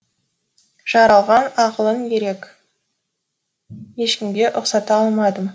жаралған ақылың ерек ешкімге ұқсата алмадым